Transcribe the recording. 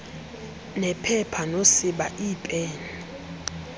nephepha nosiba iipen